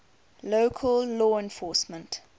local law enforcement